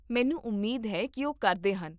ਮੈਨੂੰ ਉਮੀਦ ਹੈ ਕੀ ਉਹ ਕਰਦੇ ਹਨ